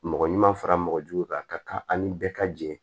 Mɔgɔ ɲuman fara mɔgɔ jugu kan ka kan ani bɛɛ ka jɛ